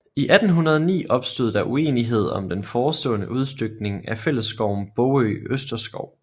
I 1809 opstod der uenighed om den forestående udstykning af fællesskoven Bogø Østerskov